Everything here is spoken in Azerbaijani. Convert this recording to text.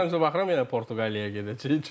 Ssenariyə baxıram yenə Portuqaliyaya gedəcəyik.